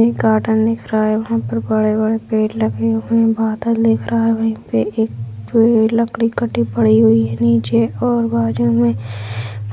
एक गार्डन दिख रहा है वहां पर बड़े-बड़े पेड़ लगे हुए हैं बादल दिख रहा हैं वहीं पे एक पेड़ लकड़ी कटी पड़ी हुई है नीचे और बाजू में